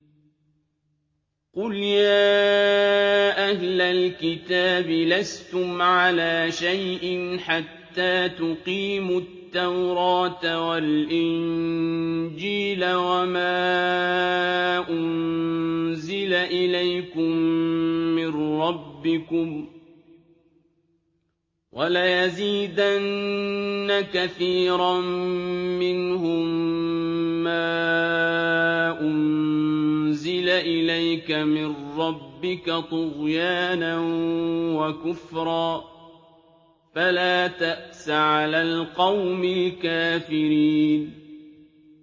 قُلْ يَا أَهْلَ الْكِتَابِ لَسْتُمْ عَلَىٰ شَيْءٍ حَتَّىٰ تُقِيمُوا التَّوْرَاةَ وَالْإِنجِيلَ وَمَا أُنزِلَ إِلَيْكُم مِّن رَّبِّكُمْ ۗ وَلَيَزِيدَنَّ كَثِيرًا مِّنْهُم مَّا أُنزِلَ إِلَيْكَ مِن رَّبِّكَ طُغْيَانًا وَكُفْرًا ۖ فَلَا تَأْسَ عَلَى الْقَوْمِ الْكَافِرِينَ